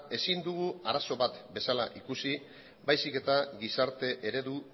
ezin dugu arazo bat bezala ikusi baizik eta gizarte eredu